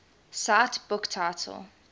cite book title